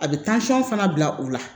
A bɛ fana bila u la